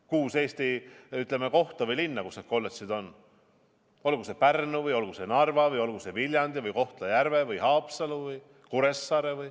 Kuues Eesti linnas on kolledž, olgu see Pärnu või olgu see Narva või olgu see Viljandi või Kohtla-Järve või Haapsalu või Kuressaare.